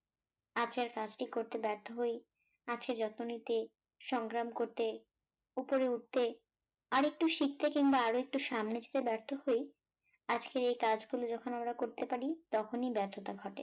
আজকের কাজ টি করতে ব্যর্থ হই আছে যত্ন নিতে সংগ্রাম করতে, উপরে উঠতে, আরেকটু শিখতে কিম্বা আরো একটু সামনে যেতে ব্যর্থ হই, আজকে একাজগুলো যখন আমরা করতে পারি তখনই ব্যর্থতা ঘটে